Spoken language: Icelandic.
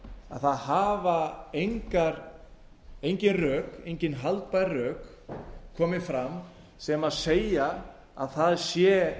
að það hafa engin haldbær rök komið fram sem segja að það sé